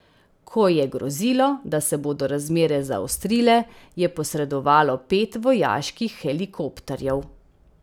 Ko je grozilo, da se bodo razmere zaostrile, je posredovalo pet vojaških helikopterjev.